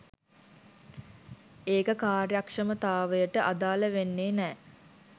ඒක කාර්යක්ෂමතාවයට අදාල වෙන්නෙ නෑ